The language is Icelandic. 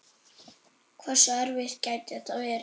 Hversu erfitt gæti þetta verið?